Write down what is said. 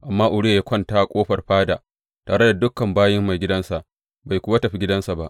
Amma Uriya ya kwanta a ƙofar fada tare da dukan bayin maigidansa, bai kuwa tafi gidansa ba.